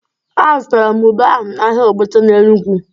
Azụtara m ube ahụ n'ahịa Ogbete n'Enugwu.